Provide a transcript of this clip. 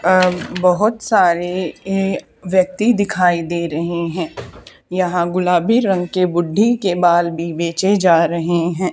अ बहोत सारे ये व्यक्ति दिखाई दे रहे हैं यहां गुलाबी रंग के बुड्ढी के बाल भी बे बेचे जा रहे हैं।